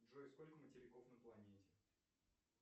джой сколько материков на планете